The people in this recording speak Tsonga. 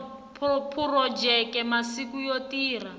phurojeke masiku yo tirha hi